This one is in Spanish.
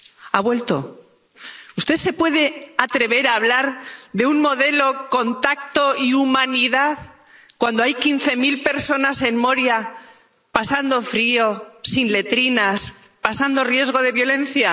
¿Ha vuelto? ¿Usted se puede atrever a hablar de un modelo con tacto y humanidad, cuando hay quince mil personas en Moria pasando frío, sin letrinas, pasando riesgo de violencia?